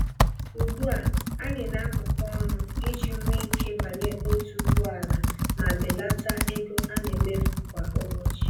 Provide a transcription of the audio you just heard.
Ugbu a, anyị na apụkọ-ọnụ iji nwe ike banye otu ụgbọala ma belata ego anemefu kwa ụbọchị